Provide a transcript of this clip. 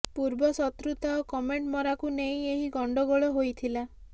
ପୂର୍ବ ଶତ୍ରୁତା ଓ କମେଣ୍ଟ ମରାକୁ ନେଇ ଏହି ଗଣ୍ଡଗୋଳ ହୋଇଥିଲା